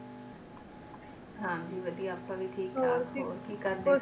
ਹਾਂ ਜੀ ਵਧੀਆ ਆਉਣ ਵੀ ਠੀਕ ਠਾਕ ਹੋਰ ਕੀ ਕਰਦੇ